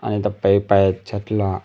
आणि इथे पाईप आहे छतला.